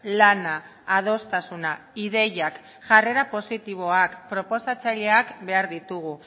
lana adostasuna ideiak jarrera positiboak proposatzaileak behar ditugu